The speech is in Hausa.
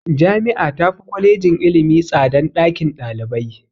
Jami'a tafi Kwalejin ilimi tsadan ɗakin ɗalibai.